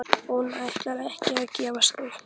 Hún ætlar ekki að gefast upp!